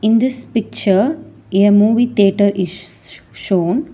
In this picture a movie theatre is shown.